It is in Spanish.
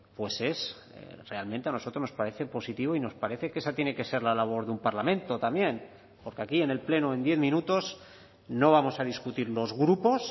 pues es realmente a nosotros nos parece positivo y nos parece que esa tiene que ser la labor de un parlamento también porque aquí en el pleno en diez minutos no vamos a discutir los grupos